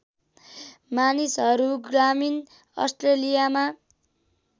मानिसहरू ग्रामीण अस्ट्रेलियामा